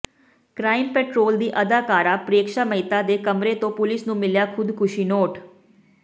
crime Patrol ਦੀ ਅਦਾਕਾਰਾ ਪ੍ਰੇਕਸ਼ਾ ਮਹਿਤਾ ਦੇ ਕਮਰੇ ਤੋਂ ਪੁਲਿਸ ਨੂੰ ਮਿਲਿਆ ਖ਼ੁਦਕੁਸ਼ੀ ਨੋਟ